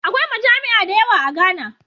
Akwai majami'a dayawa a Ghana